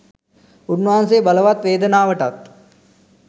උන්වහන්සේ බලවත් වේදනාවටත්